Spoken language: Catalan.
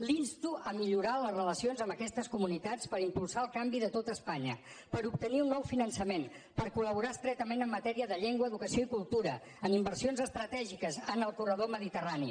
l’insto a millorar les relacions amb aquestes comunitats per impulsar el canvi de tot espanya per obtenir un nou finançament per col·cació i cultura en inversions estratègiques en el corredor mediterrani